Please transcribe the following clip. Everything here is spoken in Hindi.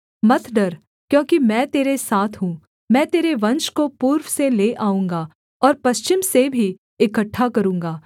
मत डर क्योंकि मैं तेरे साथ हूँ मैं तेरे वंश को पूर्व से ले आऊँगा और पश्चिम से भी इकट्ठा करूँगा